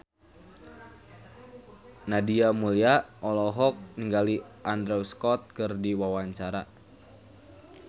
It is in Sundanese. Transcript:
Nadia Mulya olohok ningali Andrew Scott keur diwawancara